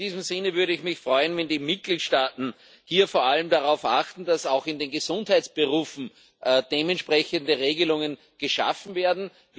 In diesem Sinne würde ich mich freuen, wenn die Mitgliedstaaten hier vor allem darauf achten, dass auch in den Gesundheitsberufen dementsprechende Regelungen geschaffen werden.